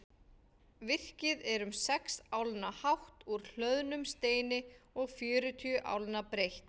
Virkið er um sex álna hátt úr hlöðnum steini og fjörutíu álna breitt.